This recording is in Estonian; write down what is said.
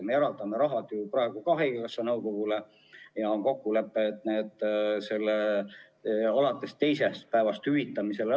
Me eraldame raha ju praegu ka haigekassa nõukogule ja on kokkulepe, et lähevad alates teisest päevast hüvitamisele.